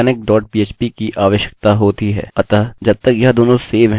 अतः जब तक यह दोनों सेव हैं हम बस mysql dot php रन कर सकते हैं